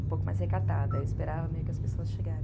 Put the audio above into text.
um pouco mais recatada, eu esperava meio que as pessoas chega